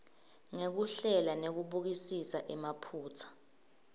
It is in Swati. ngekuhlela nekubukisisa emaphutsa